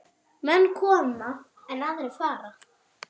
Menn koma, en aðrir fara.